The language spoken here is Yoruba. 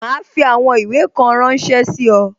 Ma fi àwọn ìwé kan ránsẹ́ sí ọ